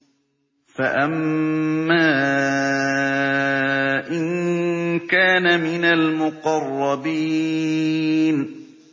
فَأَمَّا إِن كَانَ مِنَ الْمُقَرَّبِينَ